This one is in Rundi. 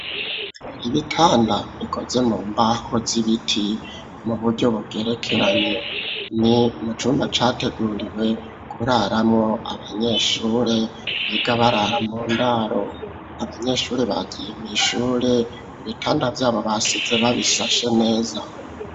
Ibitanda bikoze mu mbaho z'ibiti mu buryo bugerekeranye, ni mucumba categuriwe kuraramwo abanyeshuri biga barara mu ndaro, abanyeshuri bagiye mw'ishure ibitanda vyabo basize babishashe neza.